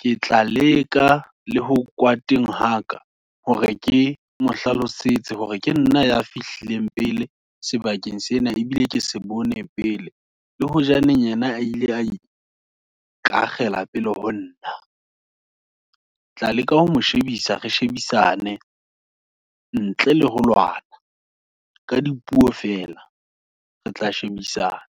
Ke tla leka le ho kwata haka, hore ke mo hlalosetse, hore ke nna ya fihlileng pele sebakeng sena, ebile ke se bone pele. Le hojaneng yena, a ile ka akgela pele ho nna, ketla leka ho mo shebisa, re shebisane, ntle le ho lwana, ka dipuo fela, re tla shebisana.